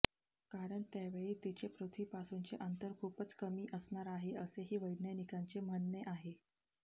कारण त्यावेळी तिचे पृथ्वीपासूनचे अंतर खुपच कमी असणार आहे असेही वैज्ञानिकांचे म्हणणे आहे